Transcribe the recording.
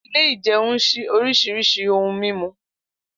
Ile- ìjẹun sìn orisirisi ohun mimu.